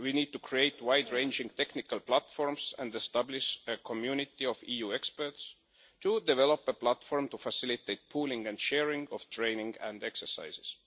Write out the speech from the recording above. We need to create wide ranging technical platforms and establish a community of EU experts to develop a platform to facilitate the pooling and sharing of training and exercises.